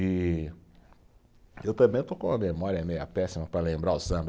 E eu também estou com uma memória meio péssima para lembrar o samba.